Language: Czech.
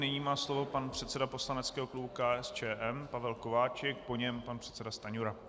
Nyní má slovo pan předseda poslaneckého klubu KSČM Pavel Kováčik, po něm pan předseda Stanjura.